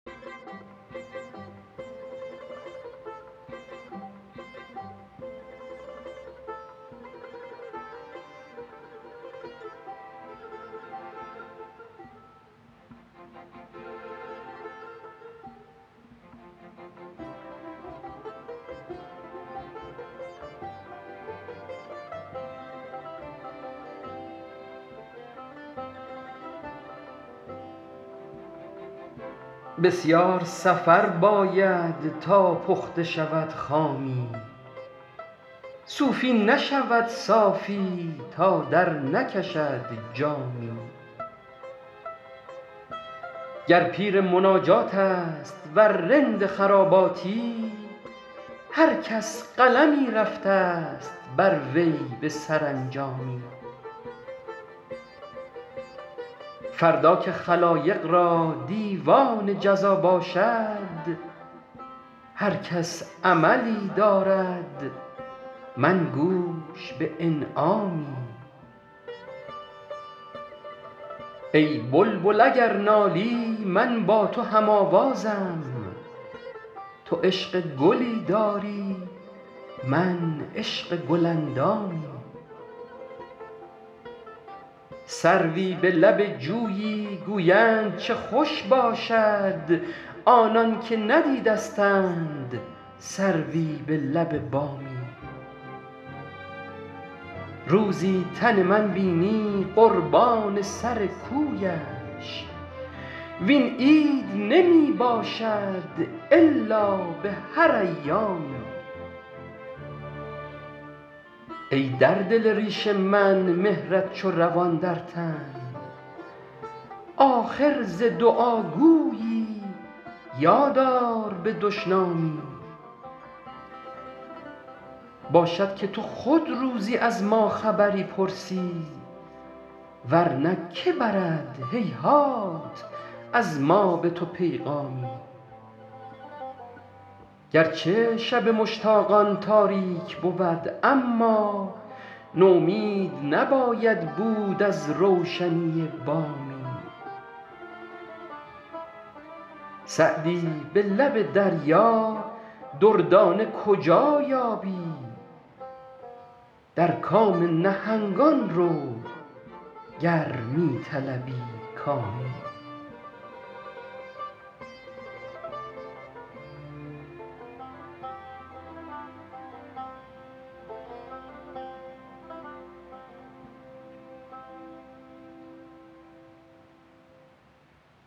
بسیار سفر باید تا پخته شود خامی صوفی نشود صافی تا درنکشد جامی گر پیر مناجات است ور رند خراباتی هر کس قلمی رفته ست بر وی به سرانجامی فردا که خلایق را دیوان جزا باشد هر کس عملی دارد من گوش به انعامی ای بلبل اگر نالی من با تو هم آوازم تو عشق گلی داری من عشق گل اندامی سروی به لب جویی گویند چه خوش باشد آنان که ندیدستند سروی به لب بامی روزی تن من بینی قربان سر کویش وین عید نمی باشد الا به هر ایامی ای در دل ریش من مهرت چو روان در تن آخر ز دعاگویی یاد آر به دشنامی باشد که تو خود روزی از ما خبری پرسی ور نه که برد هیهات از ما به تو پیغامی گر چه شب مشتاقان تاریک بود اما نومید نباید بود از روشنی بامی سعدی به لب دریا دردانه کجا یابی در کام نهنگان رو گر می طلبی کامی